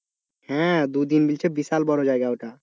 হ্যাঁ দুদিন বলছে বিশাল বড় জায়গা ওটা।